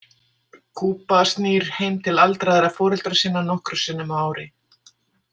Kuba snýr heim til aldraðra foreldra sinna nokkrum sinnum á ári.